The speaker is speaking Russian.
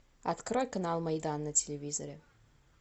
открой канал майдан на телевизоре